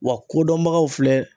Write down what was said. Wa kodɔnbagaw filɛ